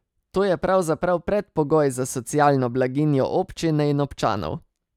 To je pravzaprav predpogoj za socialno blaginjo občine in občanov.